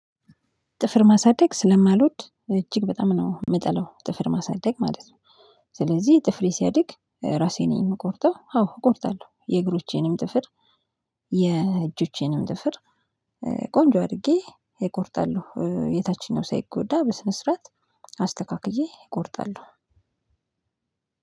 ጥፍር ማሳደግ ስለማልወድ እጅግ በጣም ነው። ምጠላው ጥፍር ማሳደግ ማለት ስለዚህ ጥፍሬ ሲያድግ ራሴ ነኝ። ምቆርጠው አዎ እቆርጣለሁ። የእግሮቼንም ጥፍር የ እጆቼንም ጥፍር ቆንጆ አድርጌ እቆርጣለሁ። የታችኛው ሳይጎዳ በስነ ስርዓት አስተካክዬ እቆርጣለሁ።